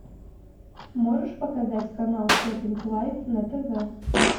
можешь показать канал шоппинг лайф на тв